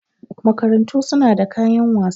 Makarantu su na da kayan wasa.